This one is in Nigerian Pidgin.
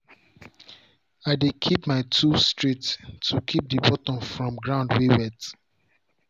i dey keep my tools straight to keep the bottom from ground way wet.